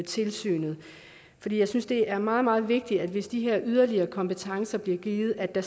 tilsynet jeg synes det er meget meget vigtigt hvis de her yderligere kompetencer bliver givet at der